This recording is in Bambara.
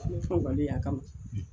y'a kama